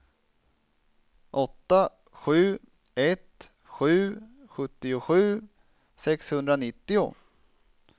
åtta sju ett sju sjuttiosju sexhundranittio